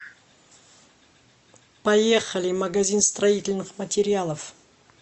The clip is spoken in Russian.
поехали магазин строительных материалов